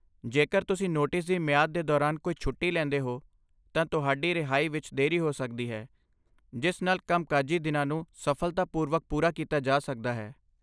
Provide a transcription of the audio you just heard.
ਜੇਕਰ ਤੁਸੀਂ ਨੋਟਿਸ ਦੀ ਮਿਆਦ ਦੇ ਦੌਰਾਨ ਕੋਈ ਛੁੱਟੀ ਲੈਂਦੇ ਹੋ, ਤਾਂ ਤੁਹਾਡੀ ਰਿਹਾਈ ਵਿੱਚ ਦੇਰੀ ਹੋ ਸਕਦੀ ਹੈ, ਜਿਸ ਨਾਲ ਕੰਮਕਾਜੀ ਦਿਨਾਂ ਨੂੰ ਸਫਲਤਾਪੂਰਵਕ ਪੂਰਾ ਕੀਤਾ ਜਾ ਸਕਦਾ ਹੈ।